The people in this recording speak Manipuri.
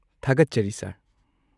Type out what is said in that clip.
ꯊꯥꯒꯠꯆꯔꯤ ꯁꯔ꯫